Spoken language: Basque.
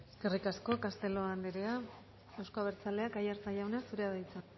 eskerrik asko castelo anderea euzko abertzaleak aiartza jauna zurea da hitza